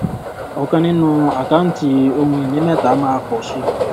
ọkàn nínú àkáǹtí ohun ìní mẹta máa pò sí